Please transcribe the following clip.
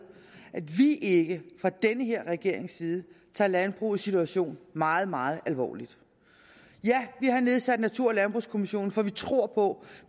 at vi ikke fra den her regerings side tager landbrugets situation meget meget alvorligt ja vi har nedsat natur og landbrugskommissionen for vi tror på